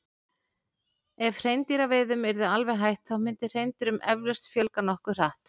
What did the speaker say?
Ef hreindýraveiðum yrði alveg hætt þá myndi hreindýrum eflaust fjölga nokkuð hratt.